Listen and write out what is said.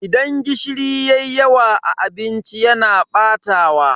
Idan gishiri yayi yawa a abinci yana batawa.